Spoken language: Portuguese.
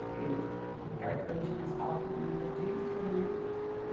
Porque aquela época não tinha asfalto nem nada disso, né? E